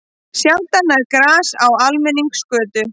Sjaldan grær gras á almenningsgötu.